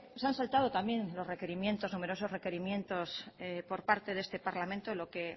se han saltado también los requerimientos numerosos requerimientos por parte de este parlamento lo que